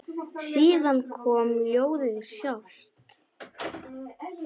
Síðan kom ljóðið sjálft: